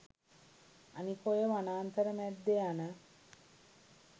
අනික ඔය වනාන්තර මැද්දේ යන